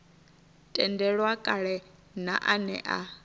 tendelwa kale na ane a